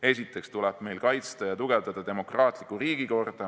Esiteks tuleb meil kaitsta ja tugevada demokraatlikku riigikorda.